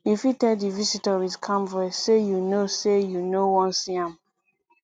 you fit tell di visitor with calm voice sey you no sey you no wan see am